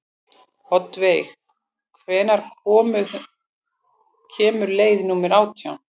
Oddveig, hvenær kemur leið númer átján?